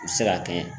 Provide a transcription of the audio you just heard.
U bɛ se ka kɛ